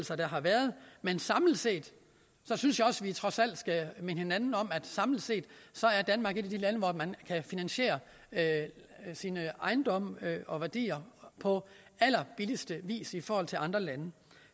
der har været men jeg synes også at vi trods alt skal minde hinanden om at samlet set er danmark et af de lande hvor man kan finansiere sine ejendomme og værdier på allerbilligste vis i forhold til andre lande